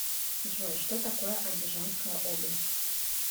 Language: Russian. джой что такое андижанская область